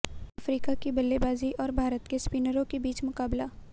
Africa की बल्लेबाजी और भारत के स्पिनरों के बीच मुकाबला